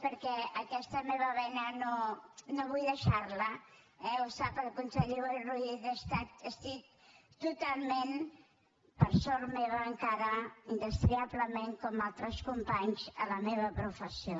perquè aquesta meva vena no vull deixar la ho sap el conseller boi ruiz estic totalment per sort meva encara indestriablement com altres companys a la meva professió